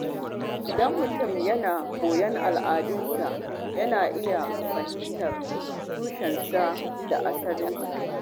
Idan mutum yana koyon al’adunsa, yana iya fahimtar tushensa da asalinsa.